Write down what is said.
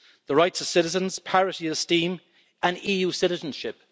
The rights of citizens, parity of esteem and EU citizenship.